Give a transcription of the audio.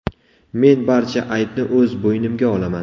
Men barcha aybni o‘z bo‘ynimga olaman.